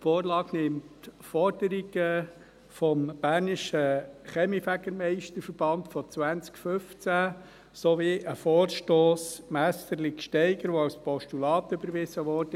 Die Vorlage nimmt die Forderungen des Bernischen Kaminfegermeister-Verbands von 2015 sowie einen Vorstoss Messerli/Gsteiger auf, der 2016 im Grossen Rat als Postulat überwiesen wurde.